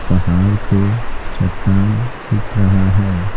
पहाड़ पे चट्टान दिख रहा है।